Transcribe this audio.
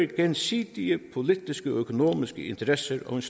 gensidige politiske og økonomiske interesser og